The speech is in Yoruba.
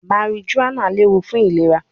Marijuana lewu fun ilera